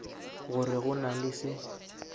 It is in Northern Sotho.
gore go na le se